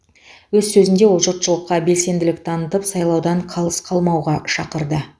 өз сөзінде ол жұртшылыққа белсенділік танытып сайлаудан қалыс қалмауға шақырды